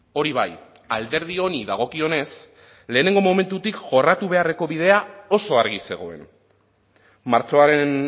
hori bai alderdi honi dagokionez lehenengo momentutik jorratu beharreko bidea oso argi zegoen martxoaren